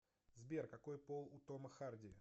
сбер какои пол у тома харди